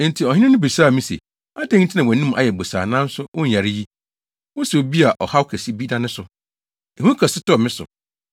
enti ɔhene no bisaa me se, “Adɛn nti na wʼanim ayɛ bosaa nanso wonyare yi? Wosɛ obi a ɔhaw kɛse bi da ne so.” Ehu kɛse tɔɔ me so,